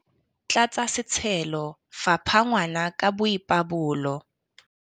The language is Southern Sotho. Tlatsa setshelo, fapha ngwana ka boipabolo.